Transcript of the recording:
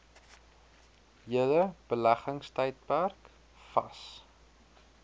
hele beleggingstydperk vas